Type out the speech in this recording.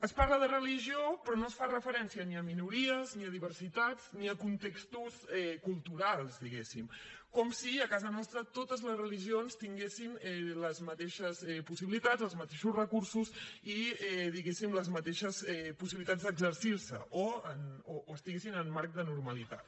es parla de religió però no es fa referència ni a minories ni a diversitats ni a contextos culturals diguem ne com si a casa nostra totes les religions tinguessin les mateixes possibilitats els mateixos recursos i les mateixes possibilitats d’exercir se o estiguessin al marc de normalitat